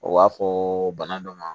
O b'a fɔ bana dɔ ma